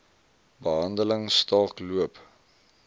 behandeling staak loop